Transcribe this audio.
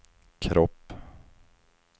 kropp